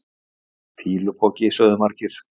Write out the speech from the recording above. Fýlupoki sögðu margir.